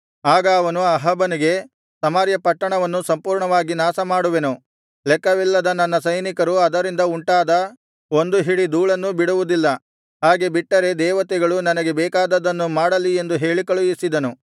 ಆಗ ಅವನು ಅಹಾಬನಿಗೆ ಸಮಾರ್ಯ ಪಟ್ಟಣವನ್ನು ಸಂಪೂರ್ಣವಾಗಿ ನಾಶಮಾಡುವೆನು ಲೆಕ್ಕವಿಲ್ಲದ ನನ್ನ ಸೈನಿಕರು ಅದರಿಂದ ಉಂಟಾದ ಒಂದು ಹಿಡಿ ಧೂಳನ್ನು ಬಿಡುವುದಿಲ್ಲ ಹಾಗೆ ಬಿಟ್ಟರೆ ದೇವತೆಗಳು ನನಗೆ ಬೇಕಾದದ್ದನ್ನು ಮಾಡಲಿ ಎಂದು ಹೇಳಿಕಳುಹಿಸಿದನು